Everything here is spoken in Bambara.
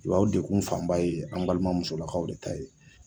o degun fan ba ye an balima muso lakaw de ta ye.